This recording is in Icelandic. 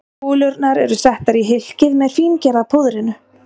Kúlurnar eru settar í hylkið með fíngerða púðrinu.